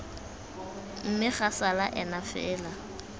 mme ga sala ena fela